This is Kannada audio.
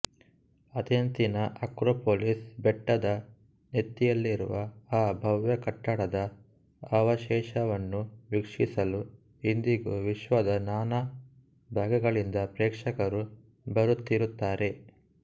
ಅಥೆನ್ಸಿನ ಅಕ್ರೊಪೋಲಿಸ್ ಬೆಟ್ಟದ ನೆತ್ತಿಯಲ್ಲಿರುವ ಆ ಭವ್ಯ ಕಟ್ಟಡದ ಅವಶೇಷವನ್ನು ವೀಕ್ಷಿಸಲು ಇಂದಿಗೂ ವಿಶ್ವದ ನಾನಾ ಭಾಗಗಳಿಂದ ಪ್ರೇಕ್ಷಕರು ಬರುತ್ತಿರುತ್ತಾರೆ